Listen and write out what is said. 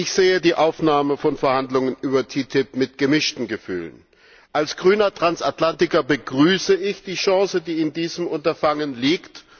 Ich sehe die Aufnahme von Verhandlungen über TTIP mit gemischten Gefühlen. Als grüner Transatlantiker begrüße ich die Chance, die in diesem Unterfangen liegt.